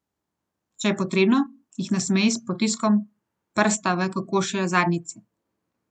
Če je potrebno, jih nasmeji s potiskom prsta v kokošje zadnjice.